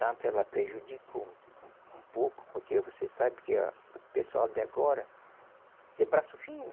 Tanto ela prejudicou um um pouco, porque você sabe que o pessoal de agora, de braço fino,